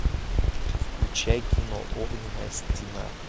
включай кино огненная стена